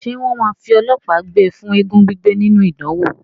Ṣé wọ́n máa fi ọlọ́pàá gbé e fún eégún gbígbé nínú ìdánwò?